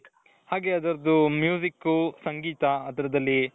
ಹಾಗೆ ಅದರದು ಸಂಗೀತ ಅದರದಲ್ಲಿ.